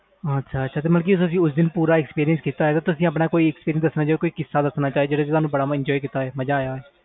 ਅੱਛਾ ਅੱਛਾ ਉਸ ਦਿਨ ਵਿਚ ਕੋਈ expression ਹੋਵੇ ਜਿਸ ਵਿਚ ਤੁਹਾਨੂੰ ਬਹੁਤ ਵਧੀਆ ਲਗਾ ਹੋਵੇ enjoy ਕੀਤਾ ਹੋਵੇ ਕੋਈ ਕਿਸਾ ਜੋ ਦਸਣਾ ਚਾਹੋ